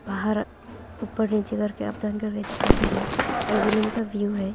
पहार ऊपर नीचे करके दिखाई दे रहे इवनिंग का व्यू है।